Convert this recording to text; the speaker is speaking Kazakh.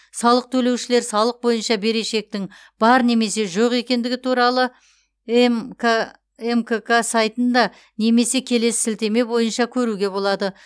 салық төлеушілер салық бойынша берешектің бар немесе жоқ екендігі туралы мк мкк сайтында немесе келесі сілтеме бойынша көруге болады